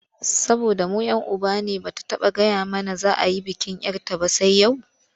Saboda mu 'yan uba ne ba ta gaya mana za a yi bikin 'yar ta ba sai yau?